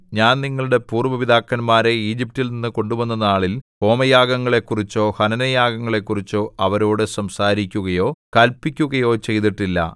ഞാൻ നിങ്ങളുടെ പൂര്‍വ്വ പിതാക്കന്മാരെ ഈജിപ്റ്റിൽനിന്നു കൊണ്ടുവന്ന നാളിൽ ഹോമയാഗങ്ങളെക്കുറിച്ചോ ഹനനയാഗങ്ങളെക്കുറിച്ചോ അവരോടു സംസാരിക്കുകയോ കല്പിക്കുകയോ ചെയ്തിട്ടില്ല